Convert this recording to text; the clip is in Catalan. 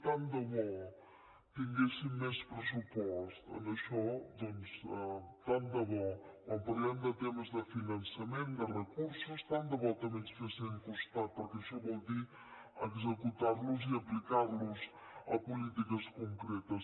tant de bo tinguéssim més pressupost en això doncs tant de bo quan parlem de temes de finançament de recursos tant de bo també ens fessin costat perquè això vol dir executar los i aplicar los a polítiques concretes